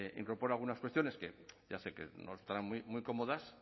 incorpora algunas cuestiones que ya sé que no estarán muy cómodas